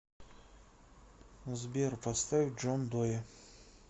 сбер поставь джон дое